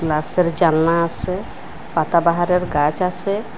গ্লাসের জানলা আসে পাতাবাহারের গাছ আসে।